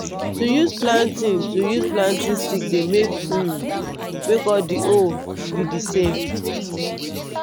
to use planting to use planting stick dey um make all d hole be d same.